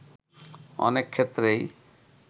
অনেক ক্ষেত্রেই